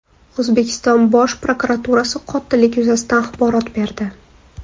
O‘zbekiston Bosh prokuraturasi qotillik yuzasidan axborot berdi .